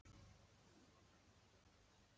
Hvernig verður þjóðarleikvangur Íslands í framtíðinni?